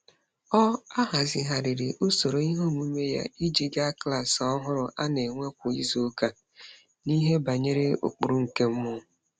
Ọ ahazigharịrị usoro iheomume ya iji ga klaasị ọhụrụ a na-enwe kwa izuụka n’ihe banyere ụkpụrụ nke mmụọ.